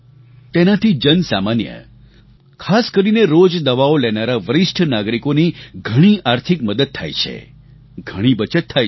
તેનાથી જન સામાન્ય ખાસ કરીને રોજ દવાઓ લેનારા વરિષ્ઠ નાગરિકોની ઘણી આર્થિક મદદ થાય છે ઘણી બચત થાય છે